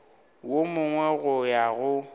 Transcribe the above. wo mongwe go ya go